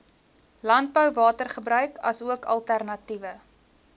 landbouwatergebruik asook alternatiewe